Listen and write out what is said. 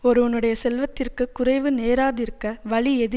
ஒருவனுடைய செல்வத்திற்குக் குறைவு நேராதிருக்க வழி எது